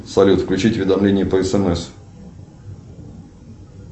салют включить уведомление по смс